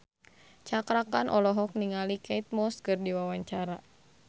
Cakra Khan olohok ningali Kate Moss keur diwawancara